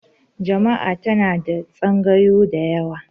Jami'a tana da tsangayu da yawa